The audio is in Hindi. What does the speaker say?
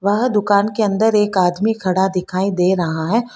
वह दुकान के अंदर एक आदमी खड़ा दिखाई दे रहा है।